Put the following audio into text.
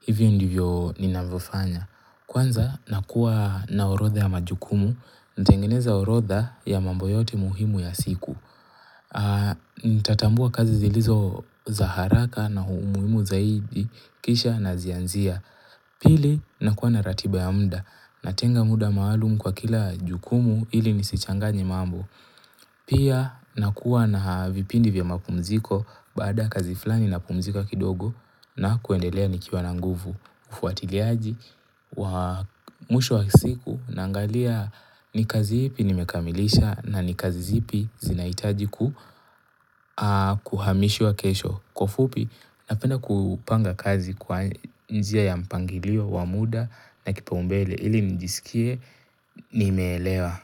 Hivyo ndivyo ninavyofanya. Kwanza nakuwa na orodha ya majukumu. Natengeneza orodha ya mambo yote muhimu ya siku. Nitatambua kazi zilizo za haraka na umuhimu zaidi kisha nazianzia. Pili nakuwa na ratiba ya mda natenga muda maalum kwa kila jukumu ili nisichanganye mambo. Pia nakuwa na vipindi vya mapumziko baada kazi flani napumzika kidogo na kuendelea nikiwa na nguvu ufuatiliaji wa mwisho wa siku naangalia ni kazi ipi nimekamilisha na ni kazi zipi zinaitaji ku kuhamishwa kesho. Kwa ufupi napenda kupanga kazi kwa njia ya mpangilio wa muda na kipaumbele ili njisikie nimeelewa.